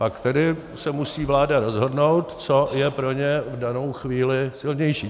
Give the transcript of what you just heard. Pak tedy se musí vláda rozhodnout, co je pro ně v danou chvíli silnější.